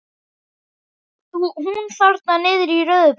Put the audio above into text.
Hún þarna niðri í rauðu peysunni.